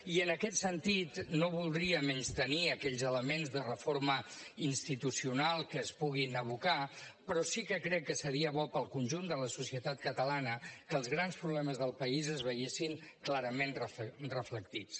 i en aquest sentit no voldria menystenir aquells elements de reforma institucional que es puguin abocar però sí que crec que seria bo per al conjunt de la societat catalana que els grans problemes del país s’hi veiessin clarament reflectits